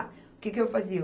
O que que eu fazia?